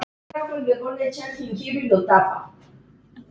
Örlög ráðin